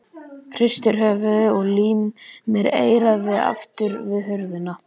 Hristir höfuðið og límir eyrað aftur við hurðina.